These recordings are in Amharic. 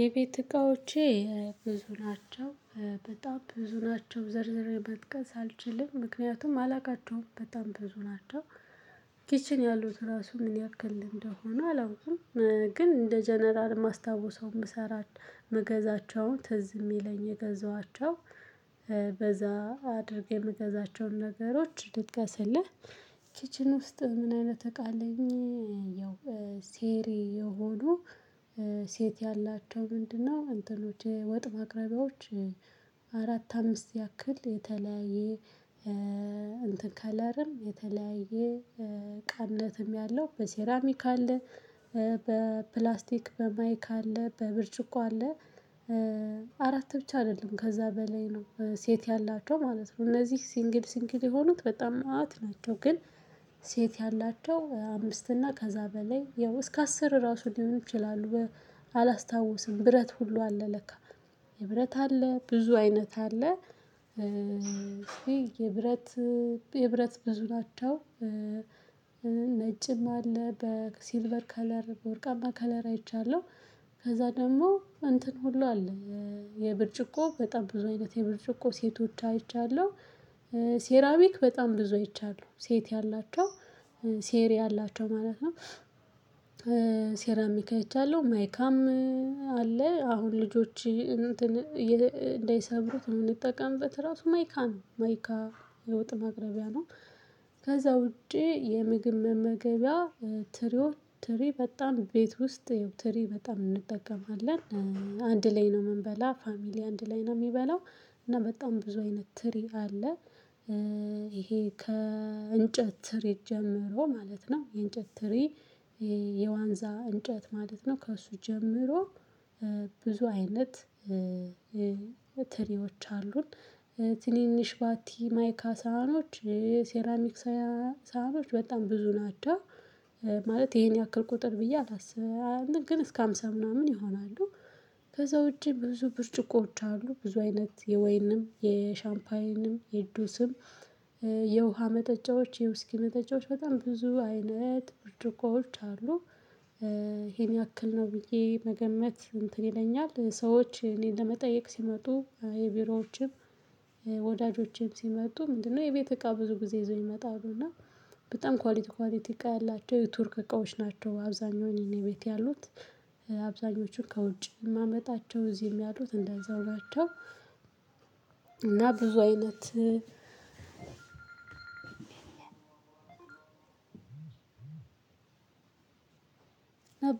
የቤት እቃዎቼ ብዙ ናቸው በጣም ብዙ ናቸው ዘርዝሬ መጥቀስ አልችልም ምክንያቱም አላውቃቸውም በጣም ብዙ ናቸው። ኪችን ያሉት ራሱ ምን ያክል እንደሆነ አላውቅም። ግን እንደ ጀነራል የማስታወሰው የምሰራ የምገዛቸውን ትዝ የሚለኝ የገዛኋቸው በዛ አድርገህ የምገዛቸውን ነገሮች ልጥቀስህ። ኪችን ውስጥ ምን አይነት እቃ አለኝ? ያው ሴሪ የሆኑ ሴት ያላቸው ምንድነው አንትኖች ወጥ ማቅራቢዎች። አራት አምስት ያክል የተለያየ እንትን ከለርም የተለያየ ቀምለትም ያለው በሴራሚክ አለ። በፕላስቲክ በማይክ አለ በብርጭቆ አለ። አራት ብቻ አይደለም ከዛ በላይ ነው ሴት ያላቸው ማለት ነው። እነዚህ ሲንግል ሲንግል የሆኑት በጣም መዓት ናቸው ግን። ያላቸው አምስትና ከዛ በላይ ያው እስከ አስር ራሱ ሊሆኑ ይችላሉ። አላስታውስም ብረት ሁላ አለ ለካ የብረት አለ ብዙ አይነት አለ። የብረት የብረት ብዙ ናቸው። ነጭም አለ በሲልቨር በከለር ወርቃማ ከለር አይቼአለሁ። ከዛ ደግሞ እንትን ሁላ አለ። የብርጭቆ በጣም ብዙ አይነት የብርጭቆ ሰቶች አይቻለሁ። ሰራሚች በጣም ብዙ አይቻለሁ ሰት ያላቸው ሴር ያላቸው ማለት ነው። ሴራሚክ አይቻለሁ ማይካም አለ አሁን ልጆች እንትን እንዳይሰብሩት የምንጠቀምበት ራሱ ማይካ ነው ማይካ የወጥ አቅረቢያ ነው። ከዛ ውጪ የምግብ መመገቢያ ትሪ በጣም ቤት ውስጥ ያው ትሪ በጣም እንጠቀማለን። አንድ ላይ ነው የምንበላው ፋሚሊ አንድ ላይ ነው የሚበላው እና በጣም ብዙ አይነት ትሪ አለ። ይሄ ከእንጨት ትሪ ጀምሮ ማለት ነው የእንጨት ትሪ። የዋንዛ እንጨት ማለት ነውከሱ ጀምሮ። ብዙ አይነት ትሪዎች አሉን። ትንንሽ ማይካ ሳህኖች ሴራሚክ ሳህኖች በጣም ብዙ ናቸው። ይሄን ያክል ቁትር ብዬ አላልስብም ኝ እስከ ሃምሳ ምናምን ይሆናሉ። ከዛ ውጪ ብዙ ብርጭቆዎች አሉ ብዙ አይነት የወይንም የሻምፓኝም የጁስም የውሃ መጠጫዎች የውስኪ መጠጫዎች ብዙ አይነት ብርጭቆዎች ሉ። ይሄን ያክል ነው ብዬ መገመት እንትን ይለኛል። ሰዎች እኔን ለመጠየቅ ሲመጡ የቢሮዎቼም ወዳጆቼም ሲመጡ ምንድን ነው የቤት እቃ ብዙ ጊዜ ይዘው ይመጣሉ እና በጣም ኳሊቲ ኳሊቲ እቃ ያላቸው የቱርክ እቃዎችህ ናቸው። አብዛኛውን እኔ ቤት ያሉት አብዛኞችሁን ከውጪ ነው የማመጣቸው እዚህም ያሉት እንደዛው ናቸው። እና ብዙ አይነት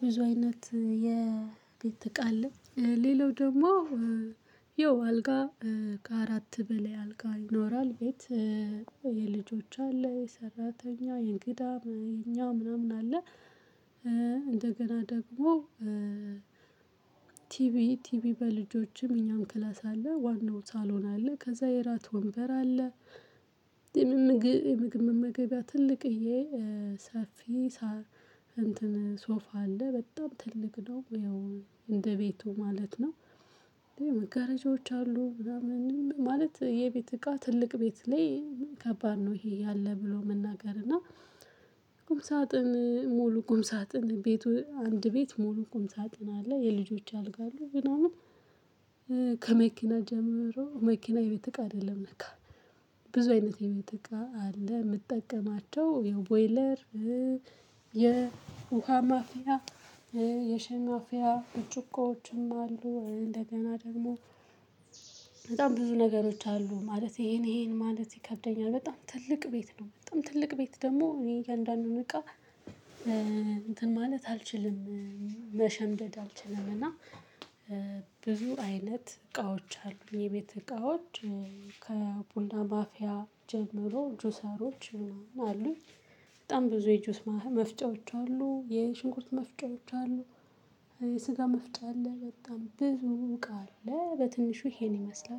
ብዙ አይነት የቤት እቃ አለኝ። ሌላው ደግሞ ያው አልጋ ከአራት በላይ አልጋ ይኖራል። የልጆች አለ የሰራተኛ የእንግዳ የኛ ምናምን ይኖራል። እንደገና ደግሞ ቲቪ ቲቪ በልጆችም እኛም ክላስ አለ ዋናው ሳሎን አለ ከዛ የእራት ወንበር አለ። የምግብ መመገቢያ ትልቅዬ ሰፊ እትን ሶፋ አለ በጣም ትልቅ ነው ያው እንደቤቱ ማለት ነው። መጋረጃዎች አሉ ምናምን ማለት የቤት እቃ ትልቅ ቤት ላይ ከባድ ነው ይሄ አለ ብሎመናገር እና። ቁም ሳጥን ሙሉ ቁም ሳጥን ቤት አንድ ቤት ሙሉ ቤት ሙሉ ቁም ሳጥን አለ። የልጆች አልጋ አለ ምናምን። ከመኪና ጀምሮ መኪና የቤት እቃ አይደለም ለካ ብዙ አይነት የቤት እቃ አለ። የምጠቀማቸው ቦይለር የውሃ ማፍያ የሻይ ማፍያ ብርጭቆዎችም አሉ። እንደገና ደግሞ በጣም ብዙ ነገሮች አሉ። ማለት ይሄን ይሄን ማለት ይከብደኛል። በጣም ትልቅ ቤት ነው በጣም ትልቅ ቤት ደግሞ እያንዳንዱን እቃ እንትን ማለት አልችልም። መሸምደድ አልችልም እና። ብዙ አይነት እቃዎች አሉኝ የቤት እቃዎች። ከቡና ማፍያ ጀምሮ ጁሰሮች አሉ። በጣም ብዙ የጁስ መፍጫዎች አሉ የሽንኩርት መፍጫዎች አሉ። የስጋ መፍጫ አለ በጣም ብዙ እቃ አለ። በትንሹ ይሄን ይመስላል